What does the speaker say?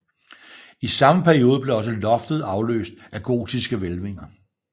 I samme periode blev også loftet afløst af gotiske hvælvinger